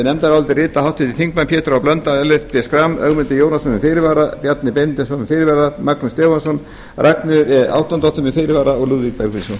nefndarálitið rita háttvirtir þingmenn pétur h blöndal ellert b schram ögmundur jónasson með fyrirvara bjarni benediktsson með fyrirvara magnús stefánsson ragnheiður e árnadóttir með fyrirvara og lúðvík bergvinsson